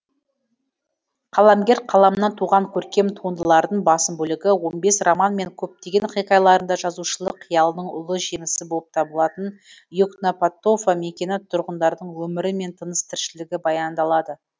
қаламгер қаламынан туған көркем туындылардың басым бөлігі он бес роман мен көптеген хикаяларында жазушылық қиялының ұлы жемісі болып табылатын и окнапатофа мекені тұрғындарының өмірі мен тыныс тіршілігі баяндалады